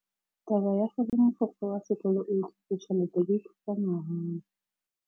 Taba ya gore mogokgo wa sekolo o utswitse tšhelete ke khupamarama.